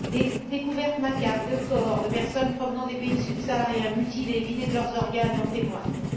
Des découvertes macabres de corps de personnes provenant des pays subsahariens, mutilés et vidés de leurs organes en témoignent.